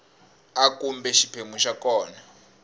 a kumbe xiphemu xa kona